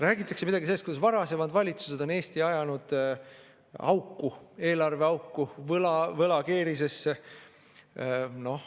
Räägitakse midagi sellest, kuidas varasemad valitsused on Eesti ajanud auku, eelarveauku, võlakeerisesse.